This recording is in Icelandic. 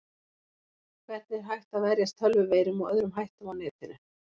Hvernig er hægt að verjast tölvuveirum og öðrum hættum á netinu?